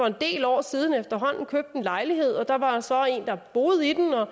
en del år siden købte en lejlighed der var så en der boede i den og